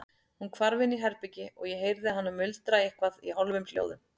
Hún hvarf inn í herbergi og ég heyrði hana muldra eitthvað í hálfum hljóðum.